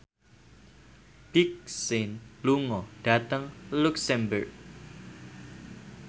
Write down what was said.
Big Sean lunga dhateng luxemburg